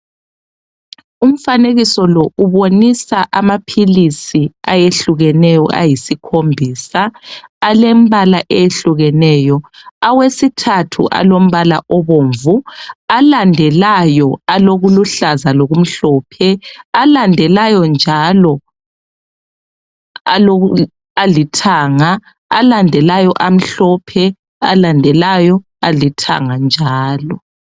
Umfanekiso lo ubonisa amaphilisi ayehlukeneyo ayisikhombisa alembala eyehlukeneyo awesithathu alombala obomvu alandelayo alokuluhlaza lokumhlophe alandelayo njalo alithanga alandelayo amhlophe alandelayo alithanga njalo